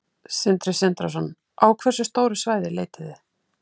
Sindri Sindrason: Á hversu stóru svæði leitið þið?